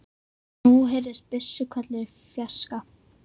Og nú heyrðust byssuhvellir í fjarska.